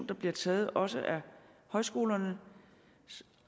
der bliver taget også af højskolernes